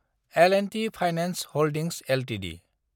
L&T finance holdings Ltd